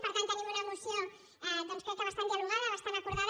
per tant tenim una moció crec que bastant dialogada bastant acordada